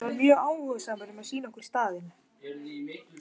Hann var mjög áhugasamur um að sýna okkur staðinn.